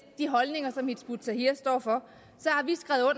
de holdninger som hizb ut tahrir står for